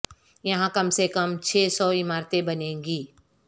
یہاں کم سے کم چھ سو عمارتیں بنیں گی